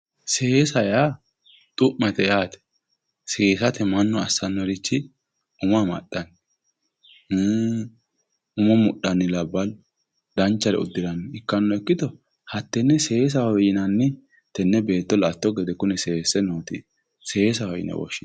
seesa yaa xu'mate yaate seesate mannu assannorichi umo amaxxa umo mudhanni labballu danchare udiranni ikkanno ikkito hattenne seesaho yinanni tenne beetto la'atto gede seesse nooti